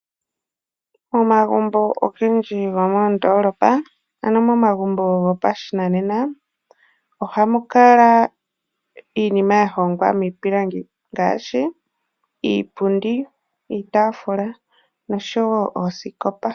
Omagumbo ogendji gomoondolopa, ano momagumbo gopashinanena ohamu kala iinima yahongwa miipilangi ngaashi, iipundi, iitaafula nosho wo oosikopa.